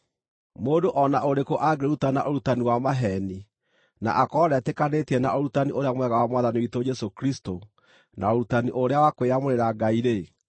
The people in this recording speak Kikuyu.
Mũndũ o na ũrĩkũ angĩrutana ũrutani wa maheeni na akorwo ndetĩkanĩtie na ũrutani ũrĩa mwega wa Mwathani witũ Jesũ Kristũ na ũrutani ũrĩa wa kwĩyamũrĩra Ngai-rĩ,